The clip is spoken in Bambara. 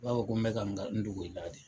I b'a fɔ ko n bɛ ka n dogo i la de!